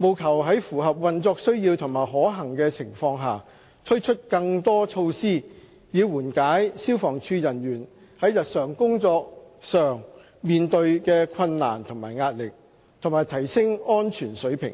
務求在符合運作需要和可行的情況下，推出更多措施以緩解消防處人員在日常工作上面對的困難和壓力，以及提升安全水平。